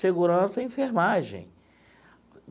Segurança e enfermagem.